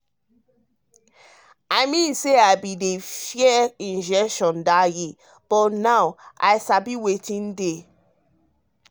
i mean say i mean say i bin dey fear injection that year but now i sabi wetin dey.